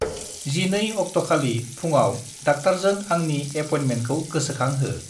12 अक्टखालि फुङाव डाक्टारजों आंनि एपयेन्टमेन्टखौ गोसोखांहो।